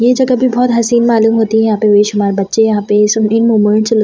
ये जगह भी बहुत हसीन मालूम होती है यहां पे बेशुमार बच्‍चें यहां पे होने के लिए --